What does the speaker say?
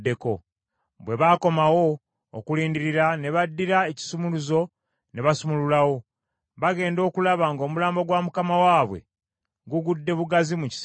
Bwe baakoowa okulindirira ne baddira ekisumuluzo ne basumululawo, baagenda okulaba ng’omulambo gwa mukama waabwe gugudde bugazi mu kisenge.